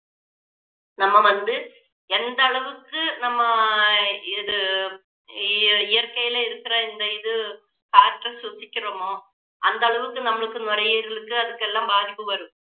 நம்ம வந்து எந்த அளவுக்கு நம்ம ஆஹ் இது இ~ இயற்கையில இருக்கிற இந்த இது காற்று சுவாசிக்கிறமோ அந்த அளவுக்கு நம்மளுக்கு நுரையீரலுக்கு அதுக்கெல்லாம் பாதிப்பு வரும்